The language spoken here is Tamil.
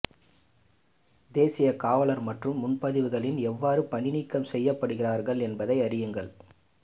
தேசிய காவலர் மற்றும் முன்பதிவுகளில் எவ்வாறு பணிநீக்கம் செய்யப்படுகிறீர்கள் என்பதை அறியுங்கள்